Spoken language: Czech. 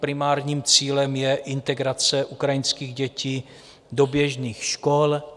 Primárním cílem je integrace ukrajinských dětí do běžných škol.